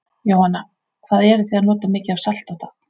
Jóhanna: Hvað eruð þið að nota mikið af salti á dag?